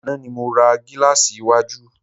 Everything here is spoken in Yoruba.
Àná ni mo ra gílàsì iwájú.